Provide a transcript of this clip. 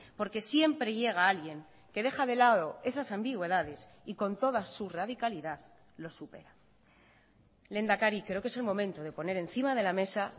porque siempre llega alguien que deja de lado esas ambigüedades y con todas su radicalidad lo supera lehendakari creo que es el momento de poner encima de la mesa